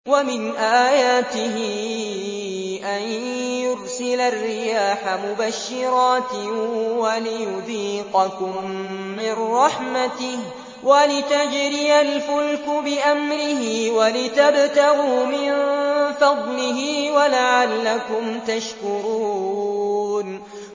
وَمِنْ آيَاتِهِ أَن يُرْسِلَ الرِّيَاحَ مُبَشِّرَاتٍ وَلِيُذِيقَكُم مِّن رَّحْمَتِهِ وَلِتَجْرِيَ الْفُلْكُ بِأَمْرِهِ وَلِتَبْتَغُوا مِن فَضْلِهِ وَلَعَلَّكُمْ تَشْكُرُونَ